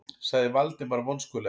sagði Valdimar vonskulega.